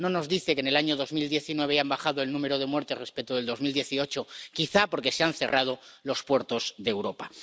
No nos dice que en el año 2019 ha bajado el número de muertes respecto del 2018 quizá porque se han cerrado los puertos de Europa.